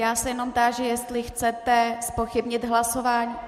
Já se jenom táži, jestli chcete zpochybnit hlasování.